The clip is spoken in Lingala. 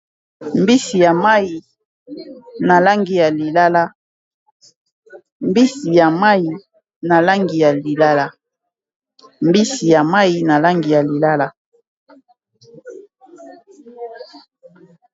mbisi ya mayi na langi ya lilala mbisi ya mayi na langi ya lilala